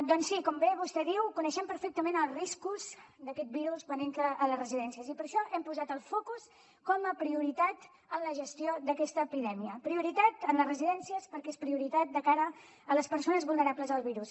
doncs sí com bé vostè diu coneixem perfectament els riscos d’aquest virus quan entra a les residències i per això hem posat el focus com a prioritat en la gestió d’aquesta epidèmia en les residències perquè és prioritat de cara a les persones vulnerables al virus